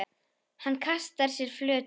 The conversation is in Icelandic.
Hann kastar sér flötum.